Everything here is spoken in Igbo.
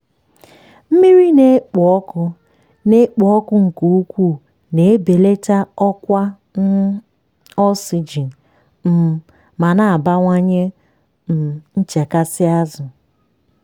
mmiri na-ekpo ọkụ na-ekpo ọkụ nke ukwuu na-ebelata ọkwa um oxygen um ma na-abawanye um nchekasị azụ.